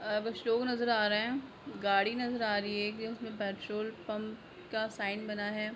अब शो नजर आ रहे हैगाड़ी नजर आ रही हैएक उसमे पेट्रोल पम्प का साइन बना है।